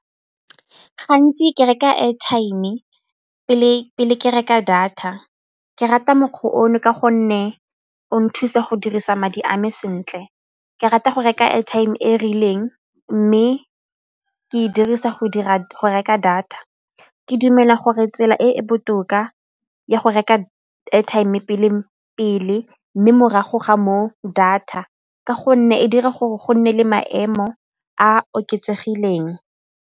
Gantsi ke reka airtime-e pele ke reka data, ke rata mokgwa ono ka gonne o nthusa go dirisa madi a me sentle. Ke rata go reka airtime e e rileng mme ke e dirisa go reka data ke dumela gore tsela e e botoka ya go reka airtime pele mme morago ga moo data ka gonne e dira gore go nne le maemo a a oketsegileng.